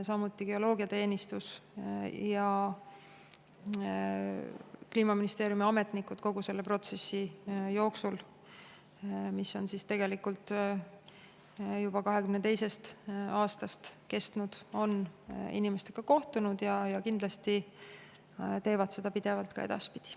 Samuti on geoloogiateenistus ja Kliimaministeeriumi ametnikud kogu protsessi jooksul, mis on tegelikult juba 2022. aastast kestnud, inimestega kohtunud ja kindlasti teevad seda pidevalt ka edaspidi.